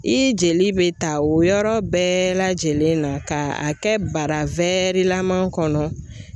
I jeli bɛ ta o yɔrɔ bɛɛ lajɛlen na ka a kɛ bara laman kɔnɔ.